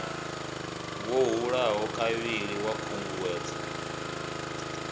ḓo hulaho kavhili ḽa khunguwedzo